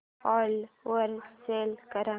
ओला वर सेल कर